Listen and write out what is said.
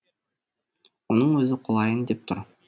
оның өзі құлайын деп тұр